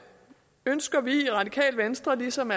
ønsker radikale venstre ligesom